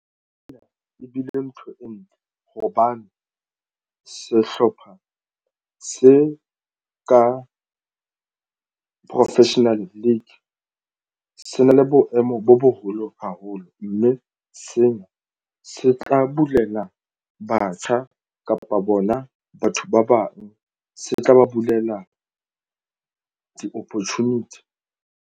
Ena e bile ntho e ntle hobane sehlopha se ka professional league se na le boemo bo boholo haholo mme sena se tla bulela batjha kapa bona batho ba bang se tla ba bulela di-opportunity.